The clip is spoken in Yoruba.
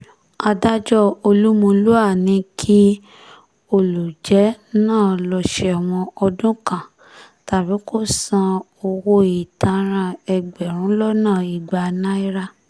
adájọ́ olúmulúà ní kí olùjẹ́ náà lọ́ọ́ sẹ́wọ̀n ọdún kan tàbí kó san owó ìtanràn ẹgbẹ̀rún lọ́nà ìgbà náírà